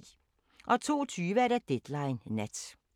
02:20: Deadline Nat